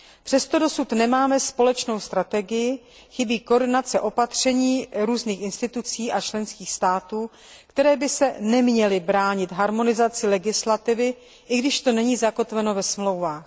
Přesto dosud nemáme společnou strategii, chybí koordinace opatření různých institucí a členských států, které by se neměly bránit harmonizaci legislativy, i když to není zakotveno ve Smlouvách.